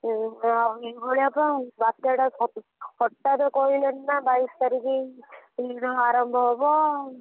ଏଭଳିଆ ନା ବାତ୍ୟାଟା ହଠାତ କହିଲେଣି ନାଁ ବାଈଶି ତାରିଖ ଯୋଉ ଆରମ୍ଭ ହବ।